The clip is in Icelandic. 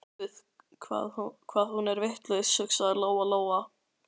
Guð hvað hún er vitlaus, hugsaði Lóa Lóa.